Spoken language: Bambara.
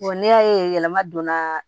n'i y'a ye yɛlɛma donna